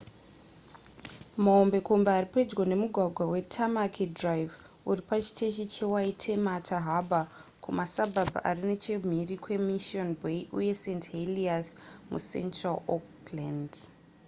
mahombekombe ari pedyo nemugwagwa wetamaki drive uri pachiteshi chewaitemata harbour kumasabhabha ari nechemhiri kwemission bay uye st heliers mucentral auckland